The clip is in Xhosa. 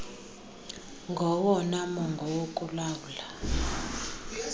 ngowona mongo wokulawula